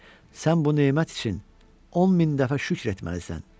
Sən bu nemət üçün 10 min dəfə şükr etməlisən.